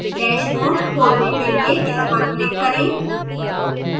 dash home खोलने के लिए इस पर click करें